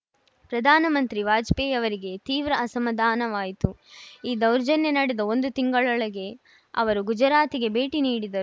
ಪ್ರಧಾನಮಂತ್ರಿ ವಾಜಪೇಯಿಯವರಿಗೆ ತೀವ್ರ ಅಸಮಾಧಾನವಾಯಿತು ಈ ದೌರ್ಜನ್ಯ ನಡೆದ ಒಂದು ತಿಂಗಳೊಳಗೆ ಅವರು ಗುಜರಾತಿಗೆ ಭೇಟಿ ನೀಡಿದರು